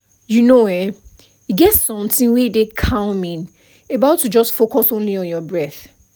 you know[um]e get something wey dey calming about to just focus only on your breath